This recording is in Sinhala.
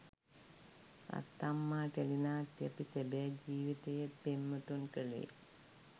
අත්තම්මා ටෙලිනාට්‍යය අපි සැබෑ ජීවිතයේත් පෙම්වතුන් කළේ